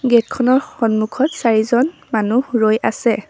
গেটখনৰ সন্মুখত চাৰিজন মানুহ ৰৈ আছে।